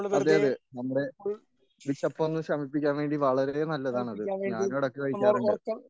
അതെ അതെ നമ്മുടെ വിശപ്പൊന്ന് ശമിപ്പിക്കാൻ വേണ്ടി വളരെയധികം നല്ലതാണിത് ഞാനുമിടയ്ക്ക് കഴിക്കാറുണ്ട്.